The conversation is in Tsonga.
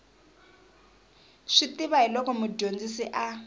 swi tiva hiloko mudyondzisi a